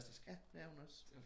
Ja det er hun også